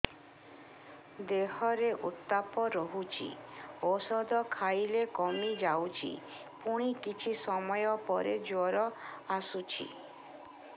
ଦେହର ଉତ୍ତାପ ରହୁଛି ଔଷଧ ଖାଇଲେ କମିଯାଉଛି ପୁଣି କିଛି ସମୟ ପରେ ଜ୍ୱର ଆସୁଛି